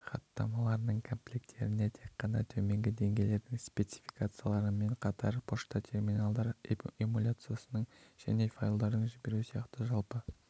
хаттамаларының комплектілеріне тек қана төменгі деңгейлердің спецификацияларымен қатар пошта терминалдар эмуляциясы және файлдарды жіберу сияқты жалпы